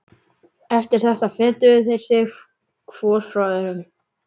Eftir þetta fetuðu þeir sig hvor frá öðrum.